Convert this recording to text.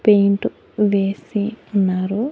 Paint వేసి ఉన్నారు.